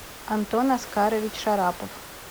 антон аскарович шарапов